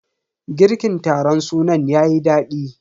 Girkin taron sunan yayi dadi.